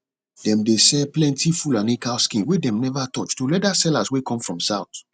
dem dey sell plenti fulani cow skin wey dem never touch to leather sellers way come from south